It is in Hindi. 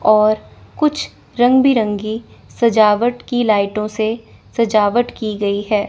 और कुछ रंग बिरंगी सजावट की लाइटों से सजावट की गई है।